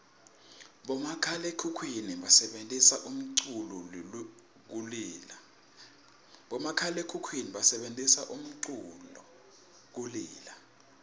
bomakhalaekhukhwini basebentisa umculu kulila